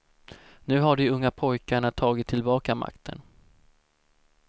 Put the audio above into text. Nu har de unga pojkarna tagit tillbaka makten.